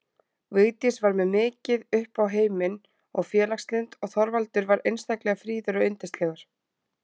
Vigdís var mikið upp á heiminn og félagslynd og Þorvaldur var einstaklega fríður og yndislegur.